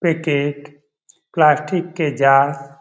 packet plastic के jar --